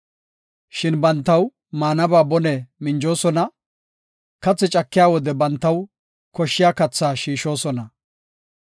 Shin bantaw maanaba bone minjoosona; kathi cakiya wode bantaw koshshiya kathaa shiishosona.